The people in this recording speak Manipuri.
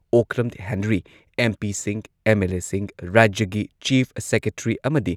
ꯑꯣꯀ꯭ꯔꯝ ꯍꯦꯅꯔꯤ, ꯑꯦꯝ.ꯄꯤꯁꯤꯡ, ꯑꯦꯝ.ꯑꯦꯜ.ꯑꯦꯁꯤꯡ, ꯔꯥꯖ꯭ꯌꯒꯤ ꯆꯤꯐ ꯁꯦꯀ꯭ꯔꯦꯇ꯭ꯔꯤ ꯑꯃꯗꯤ